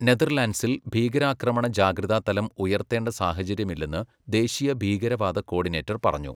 നെതർലൻഡ്സിൽ ഭീകരാക്രമണ ജാഗ്രതാ തലം ഉയർത്തേണ്ട സാഹചര്യമില്ലെന്ന് ദേശീയ ഭീകരവാദ കോഡിനേറ്റർ പറഞ്ഞു.